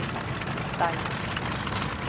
Dæja